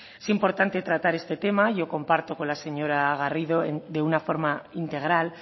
es importante tratar este tema yo comparto con la señora garrido de una forma integral